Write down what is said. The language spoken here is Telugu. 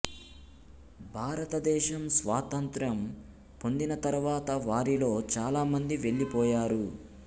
భారతదేశం స్వాతంత్య్రం పొందిన తర్వాత వారిలో చాలా మంది వెళ్లిపోయారు